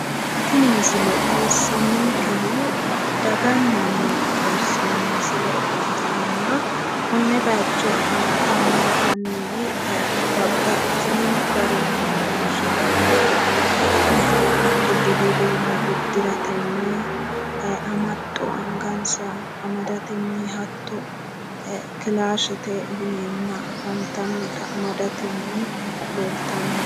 Tini misile xawissannonkehu daganna maate xawissanno misile ikkitanna konne bayicho afantanno annuwi babbaxxitino garinni loonsoonni uduunne hatto budu uduunne uddiratenni amaxxo angansa amadatenni hatto kilaashete yineenna afantannota amadatenni leeltanno.